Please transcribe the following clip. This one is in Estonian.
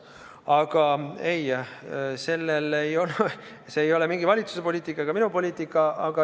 Aga ei, see ei ole valitsuse ega minu poliitika.